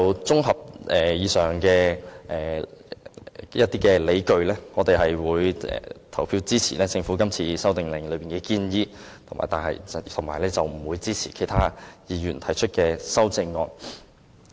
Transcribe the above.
綜合以上的理據，我們會投票支持政府《修訂令》的建議，但不會支持其他議員提出的修正案。